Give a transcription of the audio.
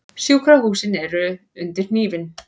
Sjúkrahúsin undir hnífinn